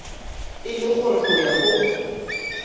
e le gore go ya